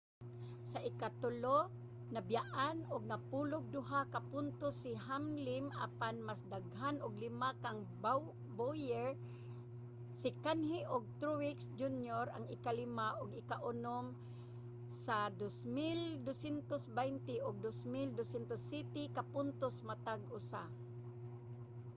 sa ikatulo nabiyaan og napulo'g duha ka puntos si hamlim apan mas daghan og lima kang bowyer. si kahne ug truex jr. ang ikalima ug ikaunom sa 2,220 ug 2,207 ka puntos matag usa